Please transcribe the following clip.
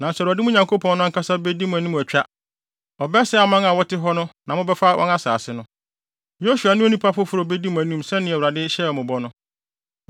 Nanso Awurade, mo Nyankopɔn no, ankasa bedi mo anim atwa. Ɔbɛsɛe aman a wɔte hɔ na mobɛfa wɔn asase no. Yosua ne onipa foforo a obedi mo anim sɛnea Awurade hyɛɛ mo bɔ no.